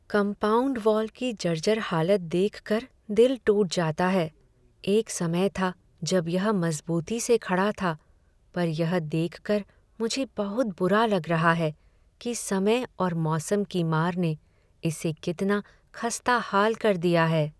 Compound wall की जर्जर हालत देखकर दिल टूट जाता है। एक समय था जब यह मजबूती से खड़ा था, पर यह देख कर मुझे बहुत बुरा लग रहा है कि समय और मौसम की मार ने इसे कितना खस्ताहाल कर दिया है।